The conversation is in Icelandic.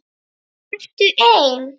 Ertu ein?